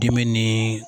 Dimi ni